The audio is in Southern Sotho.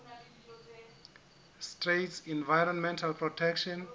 states environmental protection